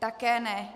Také ne.